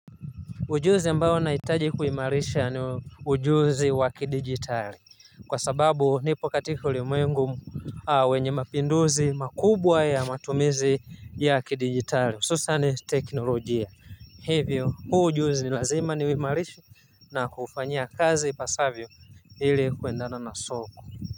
Ujuzi ambao ninahitaji kuimarisha ni ujuzi wa kidijitali. Kwa sababu nipo katika ulimwengu wenye mapinduzi makubwa ya matumizi ya kidijitali hususan teknolojia hivyo huu ujuzi ni lazima niuimarishe na kufanya kazi ipasavyo ili kuendana na soko.